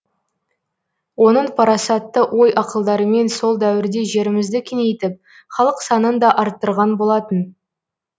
оның парасатты ой ақылдарымен сол дәуірде жерімізді кеңейтіп халық санын да артырған болатын